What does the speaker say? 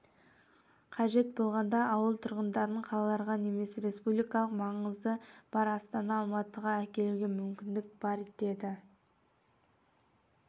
қажет болғанда ауыл тұрғындарын қалаларға немесе рспубликалық маңызы бар астана алматыға әкелуге мүмкіндік бар деді